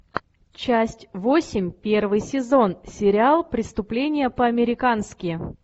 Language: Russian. часть восемь первый сезон сериал преступление по американски